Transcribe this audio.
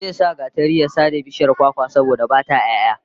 Zai sa gatari ya sare bishiyar kwakwar, saboda ba ta 'ya'ya